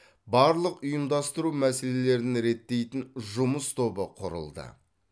барлық ұйымдастыру мәселелерін реттейтін жұмыс тобы құрылды